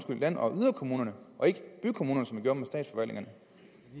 land og yderkommunerne og ikke bykommunerne